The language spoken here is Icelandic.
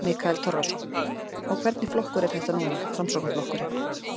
Mikael Torfason: Og hvernig flokkur er þetta núna, Framsóknarflokkurinn?